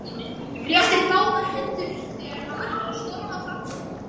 Réttir út báðar hendur þegar hann ætlar að storma framhjá.